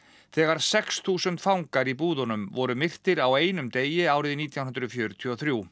þegar sex þúsund fangar í búðunum voru myrtir á einum degi árið nítján hundruð fjörutíu og þrjú